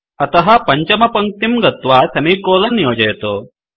अतः पञ्चमपङ्क्तिं गत्वा सेमिकोलन योजयतु